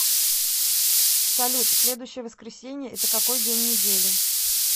салют следующее воскресение это какой день недели